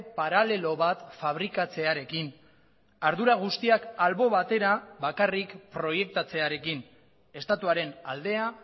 paralelo bat fabrikatzearekin ardura guztiak albo batera bakarrik proiektatzearekin estatuaren aldea